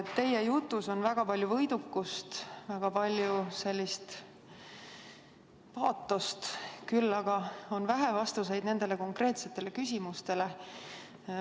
Teie jutus on väga palju võidukust, väga palju paatost, aga on vähe vastuseid nendele konkreetsetele küsimustele.